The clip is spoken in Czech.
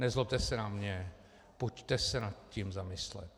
Nezlobte se na mě, pojďte se nad tím zamyslet.